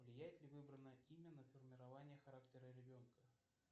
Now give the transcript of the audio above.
влияет ли выбранное имя на формирование характера ребенка